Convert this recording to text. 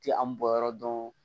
Ti an bɔnyɔrɔ dɔn